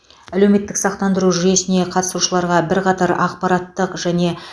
әлеуметтік сақтандыру жүйесіне қатысушыларға бірқатар ақпараттық және